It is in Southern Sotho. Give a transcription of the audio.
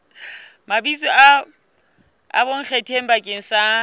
mabitso a bonkgetheng bakeng sa